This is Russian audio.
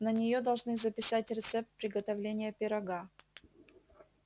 на неё должны записать рецепт приготовления пирога